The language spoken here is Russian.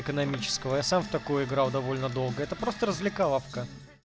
экономическая сам в такое играл довольно долго это просто развлекаловка